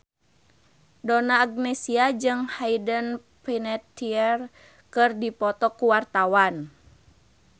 Donna Agnesia jeung Hayden Panettiere keur dipoto ku wartawan